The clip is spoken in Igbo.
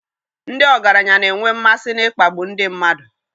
Ndị ọgaranya na-enwe mmasị n'ịkpagbu ndị mmadụ.